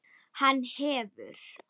Hann hefur.